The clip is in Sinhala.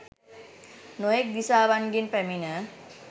නොයෙක් දිසාවන්ගෙන් පැමිණ